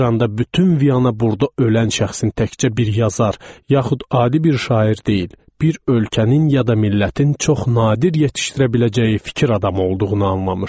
Bir anda bütün Viyana burda ölən şəxsin təkcə bir yazar yaxud adi bir şair deyil, bir ölkənin ya da millətin çox nadir yetişdirə biləcəyi fikir adamı olduğunu anlamışdı.